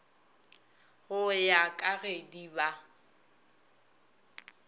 go ya ka gedi ba